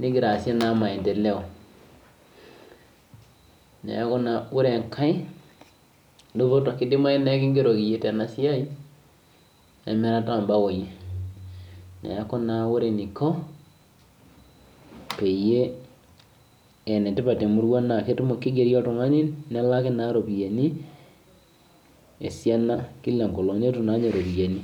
nigira asiae maendeleo neeku ore nkae duputo kidimayu naa ekigeroki eyieu Tena siai emirata oo baoi neeku ore enikoo pee enetipat tee murua naa kigeri oltung'ani nelaki eropiani esiana kila enkolog netum naa ninye eropiani